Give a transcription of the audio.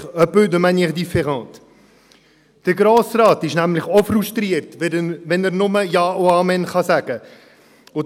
un peu de manière différente : Der Grosse Rat ist nämlich auch frustriert, wenn er nur «Ja und Amen» sagen kann.